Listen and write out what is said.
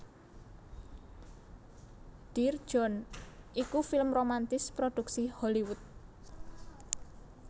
Dear John iku film romantis prodhuksi Hollywood